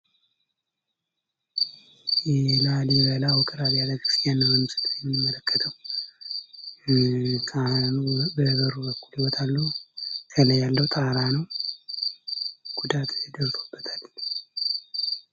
የላሊበላ ውቅር አብያተ ክርስቲያናት ሲሆን የምንመለከተው ካህኑ በበር በኩል ይወጣሉ ከላይ ያለው ተራራ ነው ጉዳት ደርሶበታል።